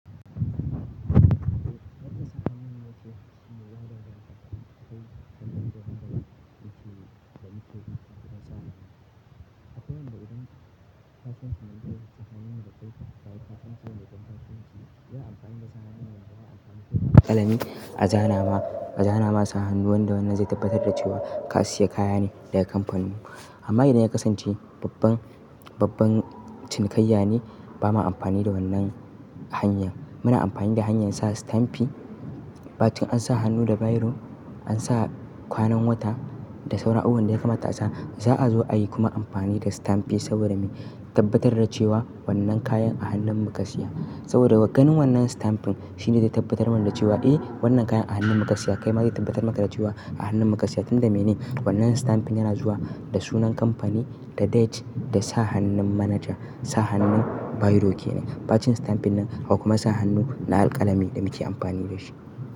Wata sahiharnin wacce ke shiga waɗannan takardu kawai ta hanyar daban-daban wacce da ita ke iya samun. Akwai wanda idan ka fantsama ta sahiharnin da ka yi ta kai ka fantsama da ƙanƙara ce, yana amfani da sahiharnin wanda yana amfani da kalami a zana ma, a zana masa hannuwan da wannan zai tabbatar da cewa ka siya kaya ne daga kamfanin mu. Amma idan ya kasance babban, babban cinikayya ne, ba ma amfani da wannan hanya. Muna amfani da hanyar sa stampi, ba ciki an sa hannu da bayoro, an sa kwanan wata da sauran abubuwan da ya kamata a sa. Za'a zo a yi kuma amfani da stampi saboda me? Tabbatar da cewa wannan kayan a hannun mu ka siya. Saboda ganin wannan sitamfin shine zai tabbatar mana da cewa, "Eh wannan kayan a hannun mu ka siya." Kai ma zai tabbatar maka da cewa a hannun mu ka siya tunda mene? Wannan sitampin yana zuwa da sunan kamfani, da date, da sa hannun manaja, sa hannun bayaro ke ne. Ba cin stampin nan, kuma sa hannu na alƙalami ɗa muke amfani da shi.